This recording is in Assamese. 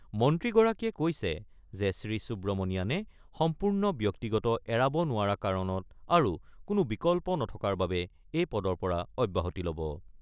মন্ত্ৰীগৰাকীয়ে কৈছে যে , শ্ৰীসুব্ৰমণিয়াণে সম্পূৰ্ণ ব্যক্তিগত এৰাব নোৱাৰা কাৰণত আৰু কোনো বিকল্প নথকাৰ বাবে এই পদৰ পৰা অব্যাহতি ল'ব।